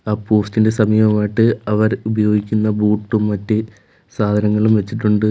പോസ്റ്റിന് സമീപമായിട്ട് അവർ ഉപയോഗിക്കുന്ന ബൂട്ടും മറ്റ് സാധനങ്ങളും വെച്ചിട്ടുണ്ട്.